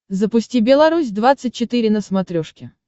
запусти белорусь двадцать четыре на смотрешке